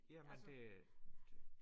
Ja men det det